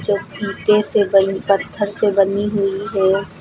जो ईंटें से बनी पत्थर से बनी हुई है।